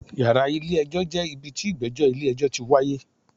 Yàrá ilé ẹjọ́ jẹ́ ibi tí ìgbẹ́jọ́ ilé ẹjọ́ ti wáyé.